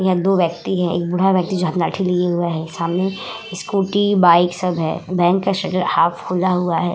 यहँ दो व्यक्ति है एक बूढा व्यक्ति है जो हाथ में लाठी लिए हुए है सामने स्कूटी बाइक सब है बैंक का शटर हाफ खुला हुआ है।